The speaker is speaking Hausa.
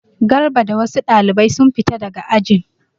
Garba da wasu ɗalibai sun fita daga ajin.